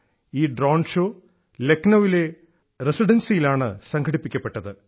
ഈ drone show ലക്നൌവിലെ residency യിലാണ് സംഘടിപ്പിക്കപ്പെട്ടത്